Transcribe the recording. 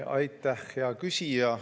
Aitäh, hea küsija!